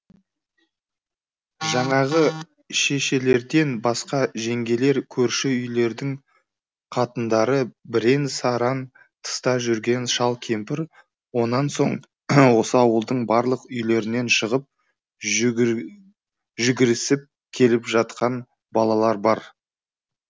жаңағы шешелерден басқа жеңгелер көрші үйлердің қатындары бірен сараң тыста жүрген шал кемпір онан соң осы ауылдың барлық үйлерінен шығып жүгірісіп келіп жатқан балалар бар